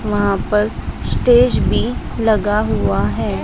वहां पर स्टेज भी लगा हुआ है।